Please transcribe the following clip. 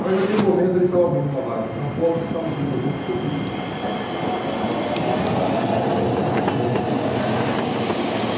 Mas, naquele momento, eles estavam abrindo uma vaga para São Paulo porque estavam vindo alguns produtos, sendo desenvolvidos produtos para a hortifruti. Uhum.